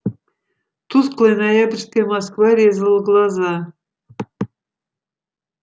тусклая ноябрьская москва резала глаза